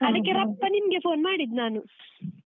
ಅದಕ್ಕೆ ರಪ್ಪ ನಿಮ್ಗೆ phone ಮಾಡಿದ್ದ್ ನಾನು .